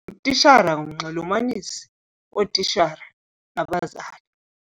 Utitshala ngumnxulumanisi wootitshala nabazali.